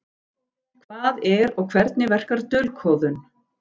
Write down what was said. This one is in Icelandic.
Hvað er og hvernig verkar dulkóðun?